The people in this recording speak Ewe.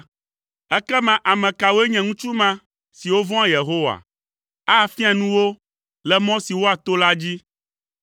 Ekema ame kawoe nye ŋutsu ma siwo vɔ̃a Yehowa? Afia nu wo le mɔ si woato la dzi.